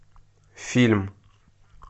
фильм